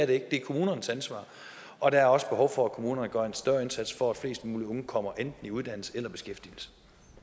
det er kommunernes ansvar og der er også behov for at kommunerne gør en større indsats for at flest mulige unge kommer i enten uddannelse eller beskæftigelse